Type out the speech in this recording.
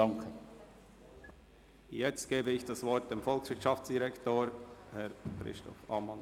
Ich erteile das Wort dem Volkswirtschaftsdirektor Christoph Ammann.